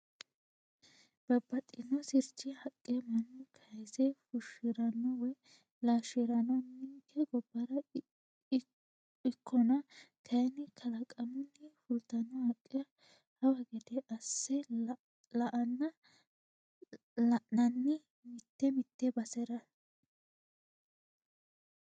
Babbaxxino sirchi haqqa mannu kayise fushirano woyi laalshirano ninke gobbara ikkonna kayinni kalaqamunni fultano haqqe hawa gede asse la'anna la'nanni mite mite basera.